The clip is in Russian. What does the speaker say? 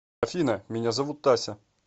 афина меня зовут тася